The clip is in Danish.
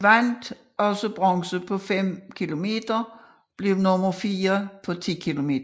Han vandt også bronze på 5 km og blev nummer fire på 10 km